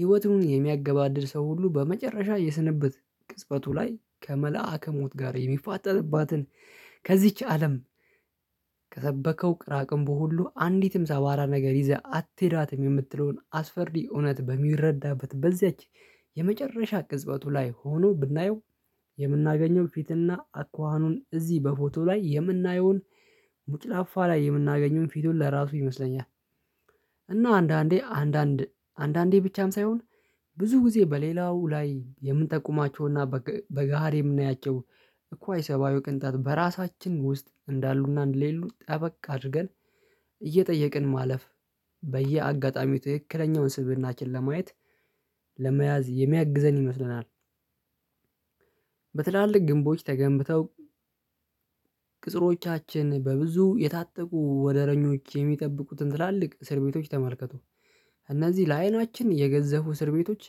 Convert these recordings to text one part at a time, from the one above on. ህይወቱን የሚያገባድድ ሰው ሁሉ በመጨረሻ የስንብት ቅጽበቱ ላይ ከመልአከ ሞት ጋር የሚፋጠጥባትን ከዚች አለም ከሰበከው ቅራቅምቦ ሁሉ አንዲትም ሰባራ ነገር ይዘህ አትሄዳትም የምትለውን አስፈሪ እውነት በሚረዳበት በዚያች የመጨረሻ ቅጽበቱ ላይ ሆኖ ብናየው የምናገኘው ፊት እና አኳኋኑን እዚህ በፎቶ ላይ የምናየውን ሙጭላፋ ላይ የምናገኘውን ፊቱን ለራሱ ይመስለኛል። እና አንዳንዴ አንዳንድ አንዳንዴ ብቻም ሳይሆን ብዙ ጊዜ በሌላው ላይ የምንጠቁማቸው እና በገሃድ የምናያቸው እኩዋይ ሰብአዊ ቅንጣት በራሳችን ውስጥ እንዳሉ እና እንደሌሉ ጠበቅ አድርገን እየጠየቅን ማለፍ በየአጋጣሚው ትክክለኛውን ስብእናችን ለማየት ለመያዝ የሚያግዘን ይመስለናል። በትላልቅ ግንቦች ተገንብተው ቅጥሮቻችን በብዙ የታጠቁ ወደረኞች የሚጠብቁትን ትላልቅ እስር ቤቶች ተመልከቱ እነዚህ ለአይናችን የገዘፉ እስር ቤቶች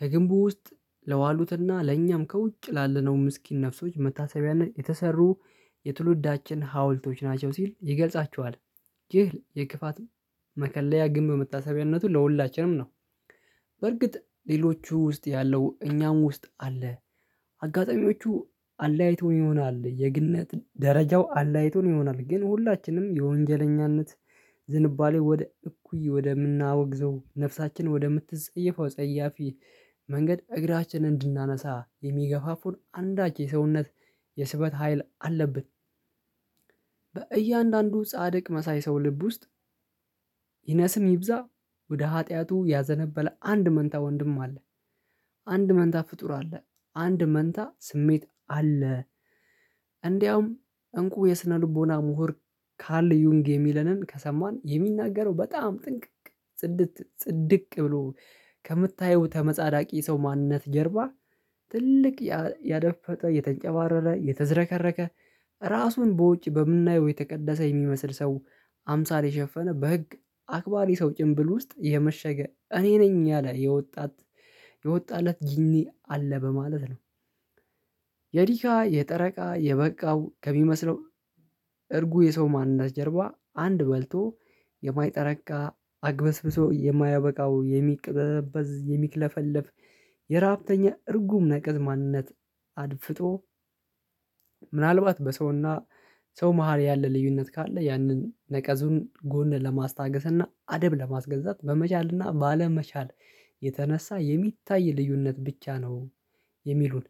ከግንቡ ውስጥ ለዋሉት እና ለእኛም ከውጭ ላለነው ምስኪን ነፍሶች መታሰቢያነት የተሰሩ የትውልዳችን ሀውልቶች ናቸው ሲል ይገልጻቸኋል። ይህ የክፋት መከለያ ግምብ መታሰቢያነቱ ለሁላችንም ነው። በርግጥ ሌሎቹ ውስጥ ያለው እኛም ውስጥ አለ። አጋጣሚዎቹ አለያይቶ ይሆናል የግነት ደረጃው አለያይቶን ይሆናል ግን ሁላችንም የወንጀለኝነት ዝንባሌ ወደ እኩይ ወደምናወግዘው ነፍሳችን ወደምትጸይፈው ጸያፊ መንገድ እግራችን እንድናነሳ የሚገፋፉን አንዳች የሰውነት የስበት ሀይል አለብን። በእያንዳንዱ ጻድቅ መሳይ ሰው ልብ ውስጥ ይነስም ይብዛ ወደ ኃጢያቱ ያዘነበለ አንድ መንታ ወንድም አለ። አንድ መንታ ፍጡር አለ አንድ መንታ ስሜት አለ። እንዲያውም እንቁ የስነ ልቦና ምሁር ካል ዩንግ የሚለንን ከሰማን የሚናገረው በጣም ጥንቅቅ ጽድት ጽድቅ ብሎ ከምታየው ተመጻዳቂ ሰው ማንነት ጀርባ ትልቅ ያደፈጠ የተንጨባረረ የተዝረከረከ ራሱን በውጭ በምናየው የተቀደሰ የሚመስል ሰው አምሳል የሸፈነ በህግ አክባሪ ሰው ጭንብል ውስጥ የመሸገ እኔ ነኝ ያለ የወጣት የወጣለት ጂኒ አለ በማለት ነው። የዲካ የጠረቃ የበቃው ከሚመስለው እርጉ የሰው ማንነት ጀርባ አንድ በልቶ የማይጠረቃ አግበስብሶ የማያበቃው የሚቅብዘበዝ የሚክለፈለፍ የረሃብተኛ እርጉም ነቅዝ ማንነት አድፍጦ ምናልባት በሰው እና ሰው መሃል ያለ ልዩነት ካለ ያንን ነቀዙን ጎን ለማስታገስ እና አደብ ለማስገዛት በመቻል እና ባለመቻል የተነሳ የሚታይ ልዩነት ብቻ ነው። የሚሉን።